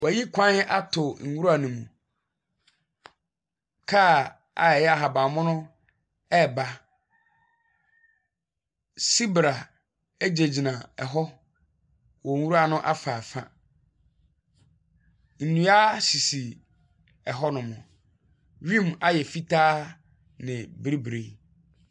Wɔyi kwan ato nwura no mu. Car a ɛyɛ ahaban mono ɛreba. Sibra egyinagyina hɔ wɔ nwura no afaafa. Nnua sisi ɛhɔ nom . Wim ayɛ fitaa ne biribiri.